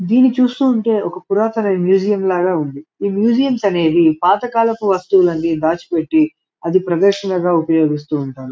దీన్ని చూస్తూ ఉంటె ఒక పురాతన మ్యూజియం లాగా ఉంది ఈ మ్యూసియంస్ అనేవి పాత కాలపు వస్తువులనేవి దాచిపెట్టి అది ప్రదర్శనగా ఉపయోగిస్తూ ఉంటారు.